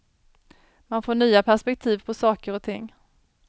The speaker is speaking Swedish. Man får nya perspektiv på saker och ting.